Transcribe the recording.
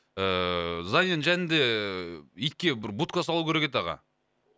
ыыы зданиенің жанында итке бір будка салу керек еді аға